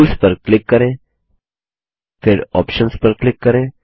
tools पर click करें फिर आप्शंस पर क्लिक करें